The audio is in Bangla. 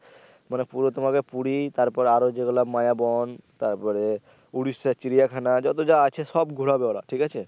মানে পুরো তোমাকে পুরি তারপর আরও যেগুলা মায়াবন তারপরে উড়িষ্যা চিড়িয়াখানা যত যা আছে সব ঘুরাবে ওরা ঠিক আছে।